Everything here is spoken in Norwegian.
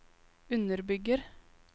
underbygger